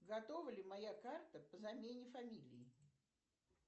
готова ли моя карта по замене фамилии